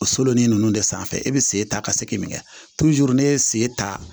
O solon ninnu de sanfɛ e bɛ sen ta ka segin min kɛ n'e ye sen ta